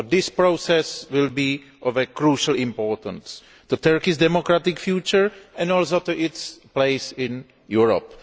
This process will be of crucial importance to Turkey's democratic future and also to its place in Europe.